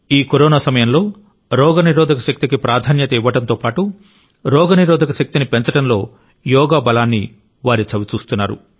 ఈ కరోనా సమయంలో రోగనిరోధక శక్తికి ప్రాధాన్యత ఇవ్వడంతో పాటు రోగనిరోధక శక్తిని పెంచడంలో యోగా బలాన్ని వారు చవిచూస్తున్నారు